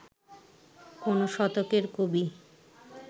কোন শতকের কবি